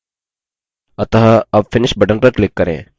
अतः अब finish button पर click करें